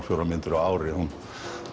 fjórar myndir á ári hún